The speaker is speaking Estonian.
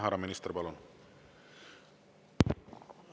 Härra minister, palun!